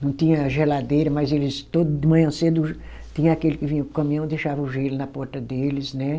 Não tinha geladeira, mas eles todo de manhã cedo, tinha aquele que vinha com o caminhão e deixava o gelo na porta deles, né?